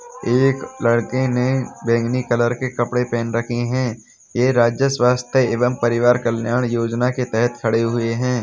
एक लडके ने बैंगनी कलर के कपड़े पहन रखे हैं। ये राज्य स्वास्थ्य एवं परिवार कल्याण योजना के तहत खड़े हुए हैं।